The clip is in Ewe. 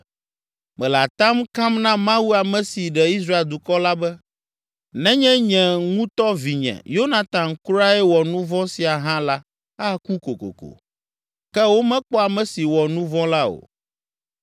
Mele atam kam na Mawu ame si ɖe Israel dukɔ la be, nenye nye ŋutɔ vinye, Yonatan kurae wɔ nu vɔ̃ sia hã la aku kokoko.” Ke womekpɔ ame si wɔ nu vɔ̃ la o.